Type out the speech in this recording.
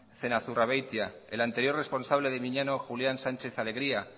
zenarruzabeitia el anterior responsable de minaño julián sánchez alegría